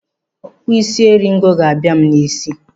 Okpusisi eringo ga-aba m n'ísí.